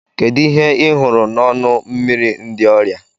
Kedu ihe ị hụrụ n'ọnụ mmiri ndị ọrịa?